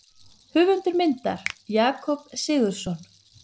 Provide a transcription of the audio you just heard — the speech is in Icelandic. Höfundur myndar: Jakob Sigurðsson.